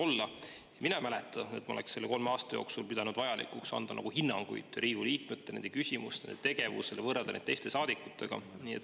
Mina ei mäleta, et ma oleksin selle kolme aasta jooksul pidanud vajalikuks anda hinnanguid Riigikogu liikmetele, nende küsimustele ja tegevusele või võrrelda neid teiste saadikutega.